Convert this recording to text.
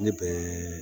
Ne bɛ